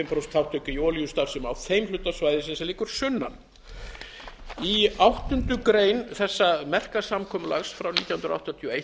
prósent þátttöku í olíustarfsemi á þeim hluta svæðisins sem liggur sunnan í áttundu grein þessa merka samkomulags frá nítján hundruð áttatíu